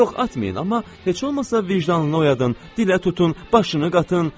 Yox, atmayın, amma heç olmasa vicdanını oyadın, dilə tutun, başını qatın.